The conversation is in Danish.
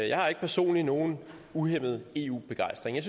jeg har ikke personligt nogen uhæmmet eu begejstring jeg